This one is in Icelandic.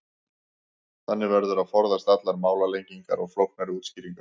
þannig verður að forðast allar málalengingar og flóknari útskýringar